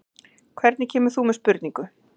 Hvernig kemur þú með spurningu?